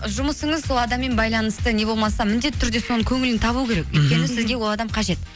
жұмысыңыз сол адаммен байланысты не болмаса міндетті түрде соның көңілін табу керек мхм өйткені сізге ол адам қажет